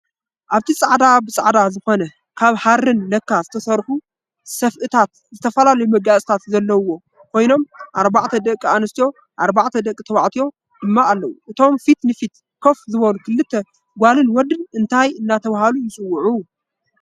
ኣብቲ ፃዕዳ ብፃዕዳ ዝኮነ ካብ ሃርን ላካ ዝተሰርሑ ሰፍእታትን ዝተፈላለዩ መጋየፅታትን ዘለው ኮይኖም ኣርባዕተ ደቂ ኣንስትዮን ኣርባዕተ ደቂ ተባዕትዮን ድማ ኣለው። እቶም ፊት ንፊት ከፍ ዝበሉ ክልተ ጎልን ወድ እንታይ እናተባህሉ ይፅውዑ?